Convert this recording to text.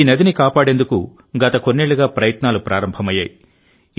ఈ నదిని కాపాడేందుకు గత కొన్నేళ్లుగా ప్రయత్నాలు ప్రారంభమయ్యాయి